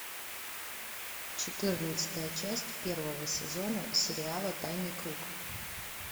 четырнадцатая часть первого сезона сериала тайный круг